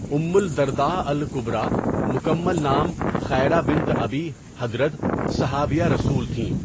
اُم الدرداء الکبریٰ مکمل نام خیرہ بنت ابی حدرد صحابیہ رسول تھیں.